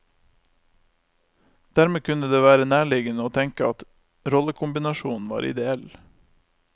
Dermed kunne det være nærliggende å tenke at rollekombinasjonen var ideell.